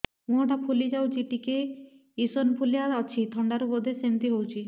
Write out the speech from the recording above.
ମୁହଁ ଟା ଫୁଲି ଯାଉଛି ଟିକେ ଏଓସିନୋଫିଲିଆ ଅଛି ଥଣ୍ଡା ରୁ ବଧେ ସିମିତି ହଉଚି